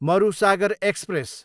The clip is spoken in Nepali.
मरुसागर एक्सप्रेस